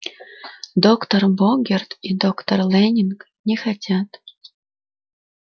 доктор богерт и доктор лэннинг не хотят